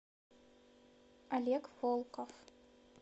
олег волков